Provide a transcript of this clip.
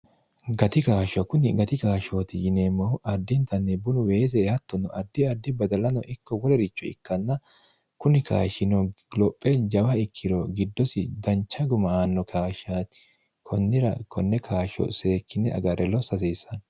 gati kaashsho kunni gati kaashshooti yineemmohu addintanni bunu weese hattonno addi addi badalano ikko wolericho ikkanna kuni kashino gilophe jawa ikkiro giddosi dancha guma aanno kaashshaati konnira konne kaashsho seekkinne agarre lo sasiissanno